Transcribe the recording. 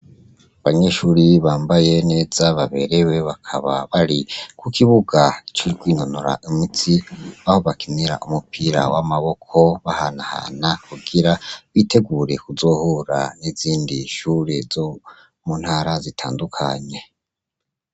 Abanyeshure bambaye neza baberewe bakaba bari kukibuga co kwinonora imitsi, aho bakinira umupira w' amaboko bahanahana kugira bitegure kuzohura n' izindi shure zo mu ntara zitandukanye.